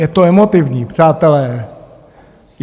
Je to emotivní, přátelé.